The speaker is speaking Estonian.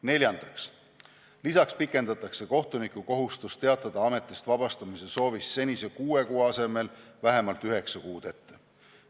Neljandaks, kohtunik peab teatama ametist lahkumise soovist senise kuue kuu asemel vähemalt üheksa kuud ette.